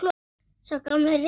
Sá gamli refur.